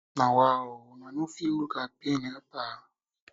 na wa o una no fit look her pain help her